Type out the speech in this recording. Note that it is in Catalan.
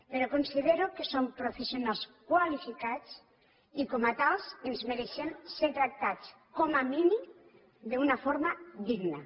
però considero que som professionals qualificats i com a tals ens mereixem ser tractats com a mínim d’una forma digna